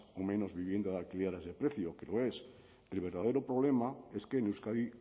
o menos vivienda de alquiler a ese precio que lo es el verdadero problema es que en euskadi